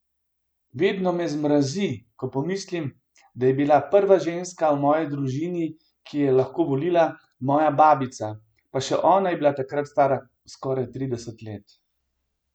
Vedno me zmrazi, ko pomislim, da je bila prva ženska v moji družini, ki je lahko volila, moja babica, pa še ona je bila takrat stara skoraj trideset let!